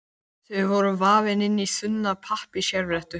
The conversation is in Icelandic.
Þau voru vafin inn í þunna pappírsservíettu.